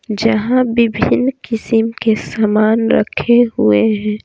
जहां विभिन्न किस्म के सामान रखे हुए हैं।